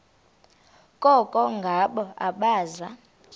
koko ngabo abaza